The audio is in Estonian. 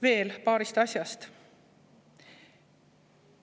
Veel paarist asjast.